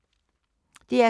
DR K